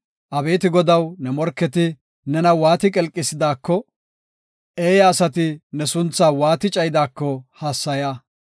Abeeti Godaw, ne morketi nena waati qelqisidaako, eeya asati ne sunthaa waati cayidaako hassaya.